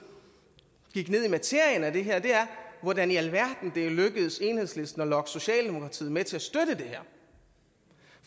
gik ned i materien i det her er hvordan i alverden er det lykkedes enhedslisten at lokke socialdemokratiet med til at støtte det her